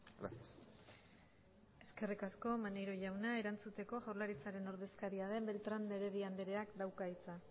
gracias eskerrik asko maneiro jauna erantzuteko jaurlaritzaren ordezkaria den beltrán de heredia andreak dauka hitza